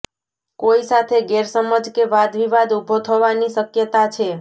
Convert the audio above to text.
કોઈ સાથે ગેરસમજ કે વાદવિવાદ ઉભો થવાની શક્યતા છે